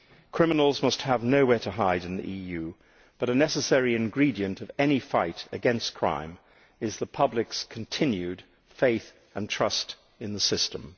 Criminals must have nowhere to hide in the EU, but a necessary ingredient of any fight against crime is the public's continued faith and trust in the system.